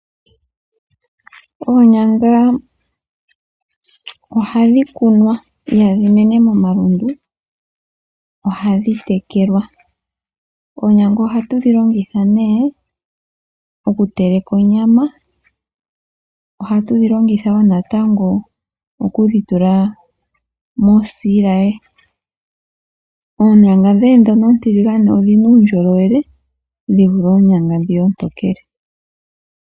Oonyanga ohadhi kunwa ihadhi mene momalundu ohadhi tekelwa. Ohatu dhi longitha okutekela onyama oshowo osiilaye. Oonyanga oontiligane odhina uundjolowele dhi vule oontokele.